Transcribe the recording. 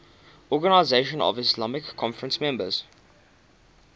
organisation of the islamic conference members